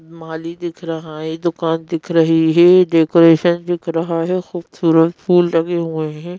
माली दिख रहा है दुकान दिख रही है डेकोरेशन दिख रहा है खूबसूरत फूल लगे हुए हैं।